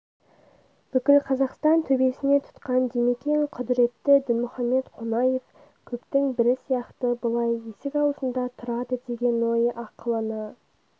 бүкіл қазақстан төбесіне тұтқан димекең құдыретті дінмұхаммед қонаев көптің бірі сияқты бұлай есік аузында тұрады деген ой ақылына